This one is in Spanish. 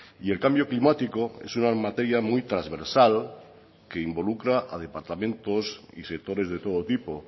y el cambio climático es una materia muy transversal que involucra a departamentos y sectores de todo tipo